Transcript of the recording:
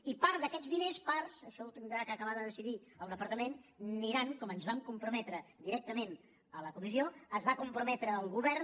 i part d’aquests diners parts això ho haurà d’acabar de decidir el departament aniran com ens hi vam comprometre directament a la comissió s’hi va comprometre el govern